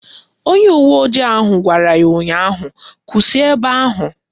Onye uwe ojii ahụ gwara ya ụnyaahụ "Kwụsị ebe ahụ"!